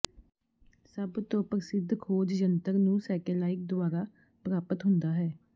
ਸਭ ਤੋ ਪ੍ਰਸਿੱਧ ਖੋਜ ਜੰਤਰ ਨੂੰ ਸੈਟੇਲਾਈਟ ਦੁਆਰਾ ਪ੍ਰਾਪਤ ਹੁੰਦਾ ਹੈ